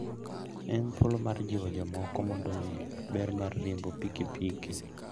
En thuolo mar jiwo jomoko mondo ong'e ber mar riembo pikipiki.